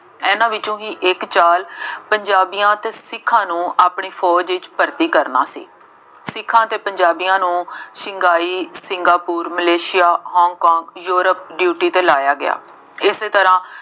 ਐਨਾ ਵਿੱਚੋਂ ਹੀ ਇੱਕ ਚਾਲ ਪੰਜਾਬੀਆਂ ਅਤੇ ਸਿੱਖਾਂ ਨੂੰ ਆਪਣੀ ਫੋਜ ਵਿੱਚ ਭਰਤੀ ਕਰਨਾ ਸੀ। ਸਿੱਖਾਂ ਅਤੇ ਪੰਜਾਬੀਆਂ ਨੂੰ Shanghai, Singapore, Malaysia, Hong Kong, Europe duty ਤੇ ਲਾਇਆ ਗਿਆ। ਇਸੇ ਤਰ੍ਹਾ